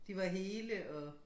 De var hele og